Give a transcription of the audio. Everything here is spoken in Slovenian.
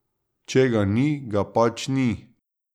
Če ga ni, ga pač ni.